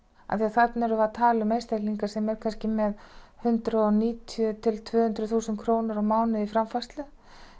þarna erum við að tala um einstaklinga sem eru kannski með hundrað og níutíu til tvö hundruð þúsund krónur á mánuði í framfærslu